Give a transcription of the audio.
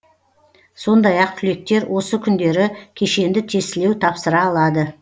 сондай ақ түлектер осы күндері кешенді тестілеу тапсыра алады